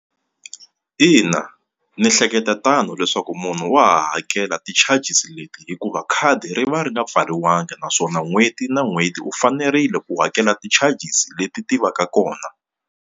Ina ni ehleketa tano leswaku munhu wa hakela ti-charges leti hikuva khadi ri va ri nga pfariwanga naswona n'hweti na n'hweti u fanerile ku hakela ti-charges leti ti va ka kona.